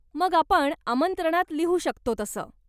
मग आपण आमंत्रणात लिहू शकतो तसं.